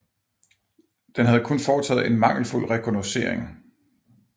Den havde kun foretaget en mangelfuld rekognoscering